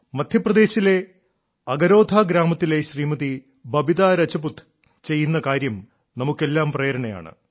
മദ്ധ്യപ്രദേശിലെ അഗരോധാ ഗ്രാമത്തിലെ ശ്രീമതി ബബിതാ രാജപുത് ചെയ്യുന്ന കാര്യം നമുക്കെല്ലാം പ്രേരണയാണ്